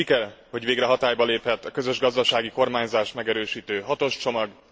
Siker, hogy végre hatályba lépett a közös gazdasági kormányzást megerősítő hatos csomag.